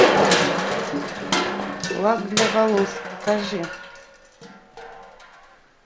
лак для волос покажи